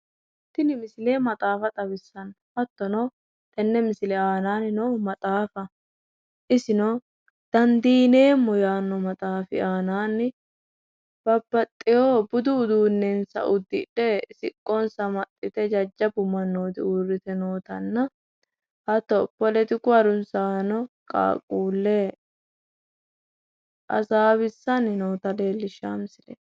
Tinni misile maxaaffa xawissano hatono tene misile aannanni noohu maxaaffaho isino dandiineemo yaano maxaafi aananni babbaxeo budu uduunensa udidhe siqonssa amaxite jajjabu manooti uurite nootanna hatto poletiku harunsaano qaqqule hasaawisanni noota leelishao misileeti.